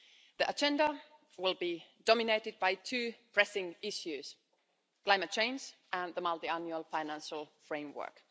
The agenda will be dominated by two pressing issues climate change and the multiannual financial framework.